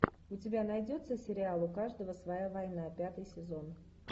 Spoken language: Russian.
у тебя найдется сериал у каждого своя война пятый сезон